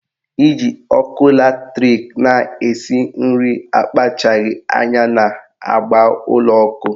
Iji ọkụ latrik na-esi nri akpachaghi anya na-agba ụlọ ọkụ